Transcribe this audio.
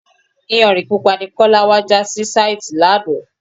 Iyanrìn Pupa ni Kọ́lá wá já sí sàìti lánàá.